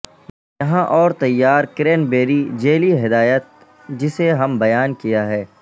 یہاں اور تیار کرینبیری جیلی ہدایت جسے ہم بیان کیا ہے